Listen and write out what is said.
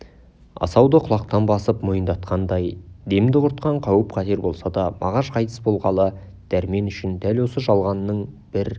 асауды құлақтан басып мойындатқандай демді құртқан қауіп-қатер болса да мағаш қайтыс болғалы дәрмен үшін дәл осы жалғанның бір